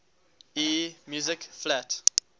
e music flat